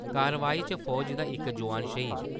कारवाई च फौज दा इक जौआन श्हीद।